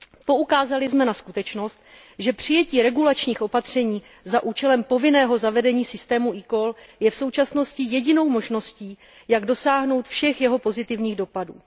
Poukázali jsem na skutečnosti, že přijetí regulačních opatření za účelem povinného zavedení systému eCall je v současnosti jedinou možností, jak dosáhnout všech jeho pozitivních dopadů.